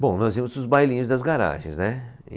Bom, nós íamos para os bailinhos das garagens, né?